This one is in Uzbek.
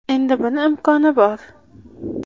Endi buning imkoni bor!